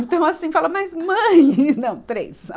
Então assim, fala, mas mãe Não, três.